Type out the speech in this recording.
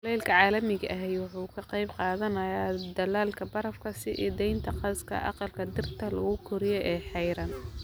Kulaylka caalamiga ahi waxa uu ka qayb qaadanayaa dhalaalka barafka, sii daynta gaaska aqalka dhirta lagu koriyo ee xayiran.